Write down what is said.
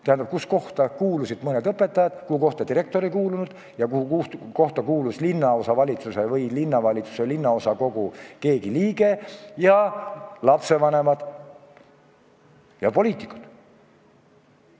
Tähendab, sinna kuulusid mõned õpetajad, aga direktor ei kuulunud, ja samas kuulus keegi linnaosavalitsuse, linnavalitsuse või linnaosakogu liige ning lapsevanemad ja poliitikud.